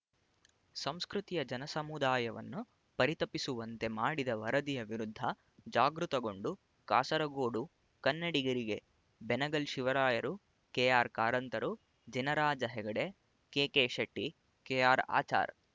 ಸಂಸ್ಕೃತಿಯ ಜನಸಮುದಾಯನ್ನು ಪರಿತಪಿಸುವಂತೆ ಮಾಡಿದ ವರದಿಯ ವಿರುದ್ಧ ಜಾಗೃತಗೊಂಡು ಕಾಸರಗೋಡು ಕನ್ನಡಿಗರಿಗೆ ಬೆನಗಲ್ ಶಿವರಾಯರು ಕೆಆರ್ಕಾರಂತರು ಜಿನರಾಜ ಹೆಗ್ಡೆ ಕೆಕೆಶೆಟ್ಟಿ ಕೆಆರ್ಆಚಾರ್